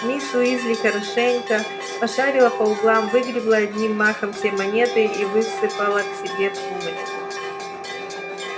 мисс уизли хорошенько пошарила по углам выгребла одним махом все монеты и высыпала к себе в сумочку